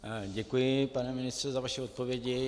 Děkuji, pan ministře, za vaše odpovědi.